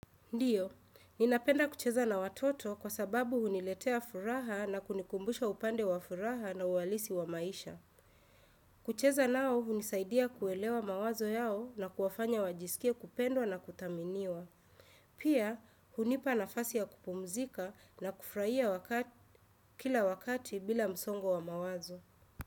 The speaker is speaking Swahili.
Ndiyo, ninapenda kucheza na watoto kwa sababu huniletea furaha na kunikumbusha upande wa furaha na uwalisi wa maisha. Kucheza nao, hunisaidia kuelewa mawazo yao na kuwafanya wajisikie kupendwa na kutaminiwa. Pia, hunipa nafasi ya kupumzika na kufraia kila wakati bila msongo wa mawazo.